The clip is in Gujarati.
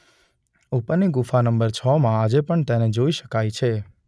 ઉપરની ગુફા નં છ માં આજે પણ તેને જોઈ શકાય છે.